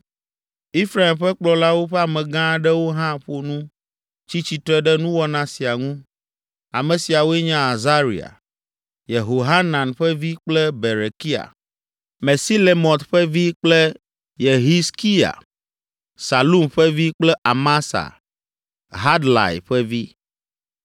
Efraim ƒe kplɔlawo ƒe amegã aɖewo hã ƒo nu tsi tsitre ɖe nuwɔna sia ŋu. Ame siawoe nye Azaria, Yehohanan ƒe vi kple Berekia, Mesilemɔt ƒe vi kple Yehizkiya, Salum ƒe vi kple Amasa, Hadlai ƒe vi.